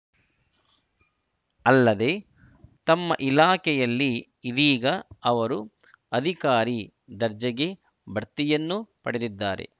ಅಲ್ಲದೆ ತಮ್ಮ ಇಲಾಖೆಯಲ್ಲಿ ಇದೀಗ ಅವರು ಅಧಿಕಾರಿ ದರ್ಜೆಗೆ ಭಡ್ತಿಯನ್ನೂ ಪಡೆದಿದ್ದಾರೆ